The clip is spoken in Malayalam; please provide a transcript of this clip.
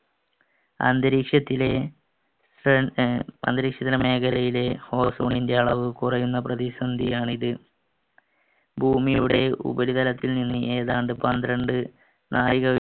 അന്തരീക്ഷത്തിലെ മേഖലയിലെ ozone ൻ്റെ അളവ് കുറയുന്ന പ്രതിസന്ധിയാണ് ഇത് ഭൂമിയുടെ ഉപരിതലത്തിൽ നിന്ന് ഏതാണ്ട് പന്ത്രണ്ട് നായിക